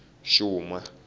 xuma